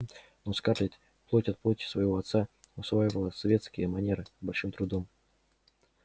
но скарлетт плоть от плоти своего отца усваивала светские манеры с большим трудом